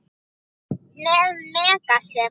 Með Megasi.